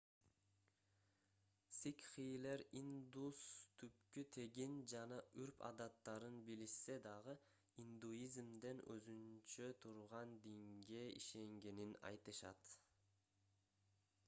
сикхилер индус түпкү тегин жана үрп адаттарын билишсе дагы индуизмден өзүнчө турган динге ишенгенин айтышат